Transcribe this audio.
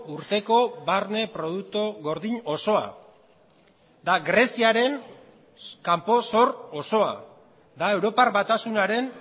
urteko barne produktu gordin osoa da greziaren kanpo zor osoa da europar batasunaren